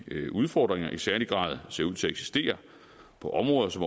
udfordringer i særlig grad ser ud til at eksistere på områder som